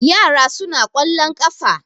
yara suna kwallon kafa